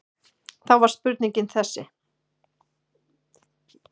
Þá var spurningin þessi